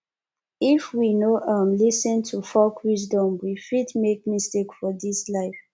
if we no um lis ten to folk wisdom we fit make mistake for dis life